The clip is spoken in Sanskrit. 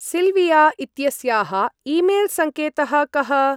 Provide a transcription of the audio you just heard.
सिल्विया इत्यस्याः ई-मेल् संकेतः कः?